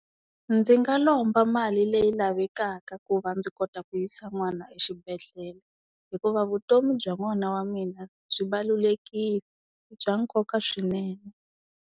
Ndzi nga lomba mali leyi lavekaka ku va ndzi kota ku yisa n'wana exibedhlele hikuva vutomi bya n'wana wa mina byi i bya nkoka swinene.